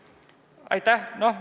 Aitäh!